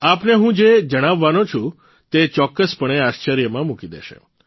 આપને હું જે જણાવવાનો છું તે ચોક્કસપણે આશ્ચર્યમાં મૂકી દેશે